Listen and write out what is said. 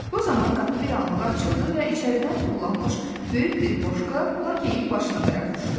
Bu zaman qapı bir anlığa açıldı və içəridən tullanmış böyük bir boşqap Lakeyin başına tərəf uçdu.